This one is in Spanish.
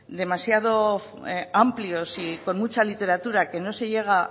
demasiado amplios y con mucha literatura que no se llega